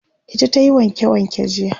ita tayi wanke wanke jiya